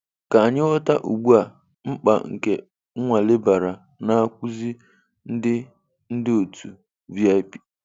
Ka anyị ghọta ugbu a mkpa nke nnwale bara n'akwuazi ndị ndị otu VIP.